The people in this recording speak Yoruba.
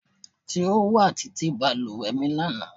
Ti o wa titi baluwe mi lana